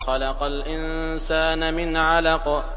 خَلَقَ الْإِنسَانَ مِنْ عَلَقٍ